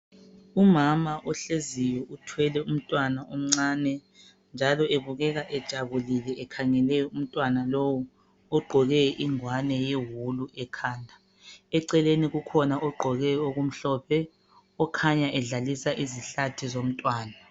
Umama ohleziyo uthwele umntwana omncane njalo ebukeka ejabulile ekhangele umntwana lowu ogqoke ingwane yewulu ekhanda. Eceleni kukhona ogqoke okumhlophe okhanya edlalisa izihlathi zomntwana.